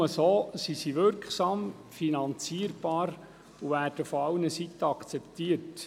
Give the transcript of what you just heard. Nur so sind sie wirksam und finanzierbar und werden von allen Seiten akzeptiert.